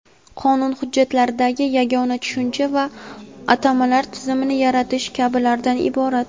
qonun hujjatlaridagi yagona tushuncha va atamalar tizimini yaratish kabilardan iborat.